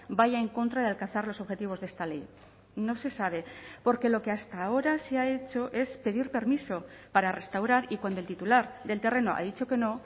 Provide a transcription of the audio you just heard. vaya en contra de alcanzar los objetivos de esta ley no se sabe porque lo que hasta ahora se ha hecho es pedir permiso para restaurar y cuando el titular del terreno ha dicho que no